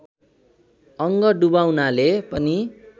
अङ्ग डुबाउनाले पनि